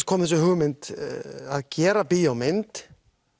kom þessi hugmynd að gera bíómynd